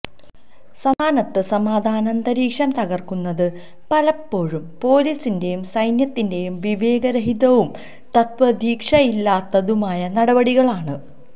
സംസ്ഥാനത്ത് സമാധാനാന്തരീക്ഷം തകര്ക്കുന്നത് പലപ്പോഴും പോലീസിന്റെയും സൈന്യത്തിന്റെയും വിവേകരഹിതവും തത്വദീക്ഷയില്ലാത്തതുമായ നടപടികളാണ്